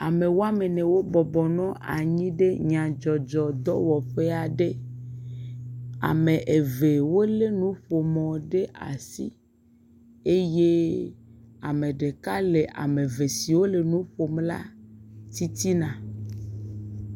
Ame woame ene wo bɔbɔ nɔ anyi ɖe nyadzɔdzɔ dɔwɔƒe aɖe, ame eve wolé nuƒomɔ ɖe asi eye ame ɖeka le ame eve si le nu ƒom la titina.